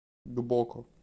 гбоко